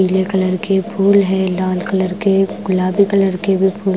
पीले कलर के फूल है लाल कलर के गुलाबी कलर के भी फू--